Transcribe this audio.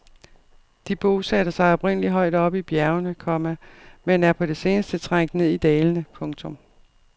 De bosatte sig oprindeligt højt oppe i bjergene, komma men er på det seneste trængt ned i dalene. punktum